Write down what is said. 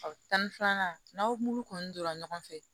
Tan ni filanan n'aw m'olu kɔni donra ɲɔgɔn fɛ